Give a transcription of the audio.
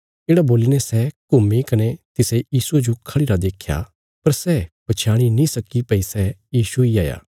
येढ़ा बोलीने सै घुम्मी कने तिसे यीशुये जो खढ़िरा देख्या पर सै पछयाणी नीं सक्की भई सै यीशु इ हाया